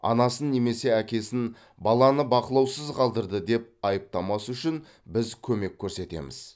анасын немесе әкесін баланы бақылаусыз қалдырды деп айыптамас үшін біз көмек көрсетеміз